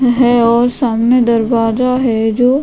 है और सामने दरवाजा है जो --